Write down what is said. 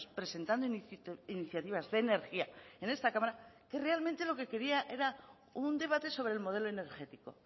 presentando iniciativas de energía en esta cámara que realmente lo que quería era un debate sobre el modelo energético